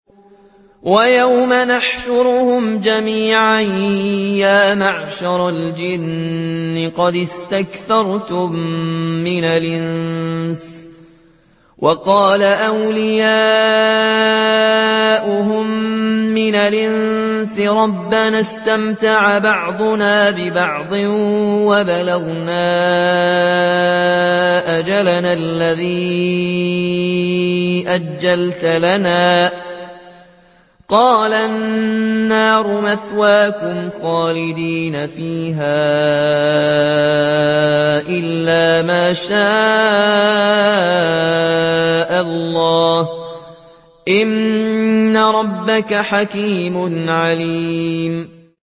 وَيَوْمَ يَحْشُرُهُمْ جَمِيعًا يَا مَعْشَرَ الْجِنِّ قَدِ اسْتَكْثَرْتُم مِّنَ الْإِنسِ ۖ وَقَالَ أَوْلِيَاؤُهُم مِّنَ الْإِنسِ رَبَّنَا اسْتَمْتَعَ بَعْضُنَا بِبَعْضٍ وَبَلَغْنَا أَجَلَنَا الَّذِي أَجَّلْتَ لَنَا ۚ قَالَ النَّارُ مَثْوَاكُمْ خَالِدِينَ فِيهَا إِلَّا مَا شَاءَ اللَّهُ ۗ إِنَّ رَبَّكَ حَكِيمٌ عَلِيمٌ